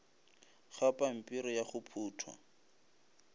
ga pampiri ya go phuthwa